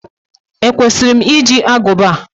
Ekwesịrị m iji agụba?